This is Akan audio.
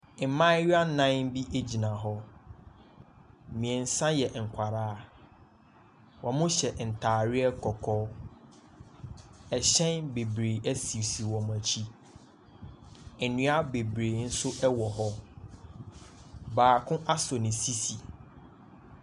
Mbaayewa nan bi egyina hɔ, miɛnsa yɛ nkwalaa. Ɔmo hyɛ ntaareɛ kɔkɔɔ, ɛhyɛn bebree esisi wɔmo ekyi, ndua bebree nso ɛwɔ hɔ. Baako asɔ ne sisi.